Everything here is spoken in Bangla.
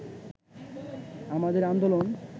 আমাদের আন্দোলন